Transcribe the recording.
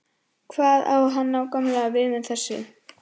Hvað á hann nákvæmlega við með þessu?